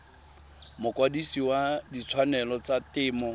mokwadise wa ditshwanelo tsa temo